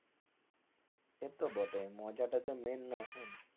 সেতো বটেই মজাটা তো mai না এখন।